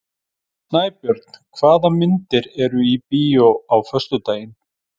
Snæbjörn, hvaða myndir eru í bíó á föstudaginn?